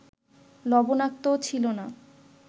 লবণাক্তও ছিল না